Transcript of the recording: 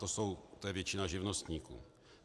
To je většina živnostníků.